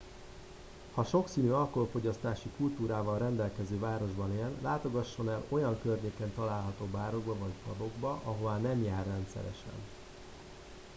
ha sokszínű alkoholfogyasztási kultúrával rendelkező városban él látogasson el olyan környéken található bárokba vagy pubokba ahová nem jár rendszeresen